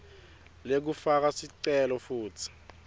lekufaka sicelo futsi